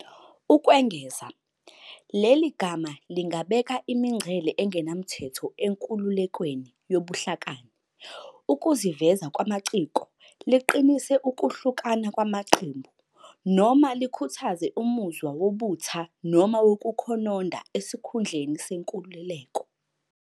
Ukwengeza, leli gama lingabeka imingcele engenamthetho enkululekweni yobuhlakani, ukuziveza kwamaciko, liqinise ukuhlukana kwamaqembu, noma likhuthaze umuzwa wobutha noma wokukhononda esikhundleni senkululeko.